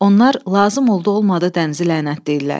Onlar lazım oldu-olmadı dənizi lənətləyirlər.